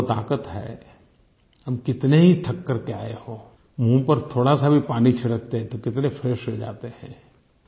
पानी में वो ताक़त है हम कितने ही थक करके आए हों मुँह पर थोड़ासा भी पानी छिड़कते हैं तो कितने फ्रेश हो जाते हैं